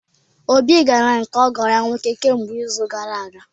Obi gara nke ọgo ya nwoke kemgbe izu gara aga.